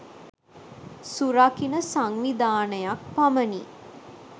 සුරකින සංවිධානයක් පමණි.